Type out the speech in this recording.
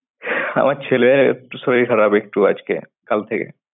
আমার ছেলের একটু শরীর খারাপ একটু আজকে কাল থেকে।